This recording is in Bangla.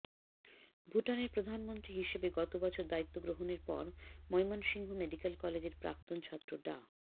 ভুটানের প্রধানমন্ত্রী হিসেবে গত বছর দায়িত্ব গ্রহণের পর ময়মনসিংহ মেডিকেল কলেজের প্রাক্তন ছাত্র ডা